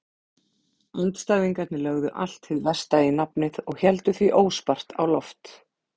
Andstæðingarnir lögðu allt hið versta í nafnið og héldu því óspart á loft.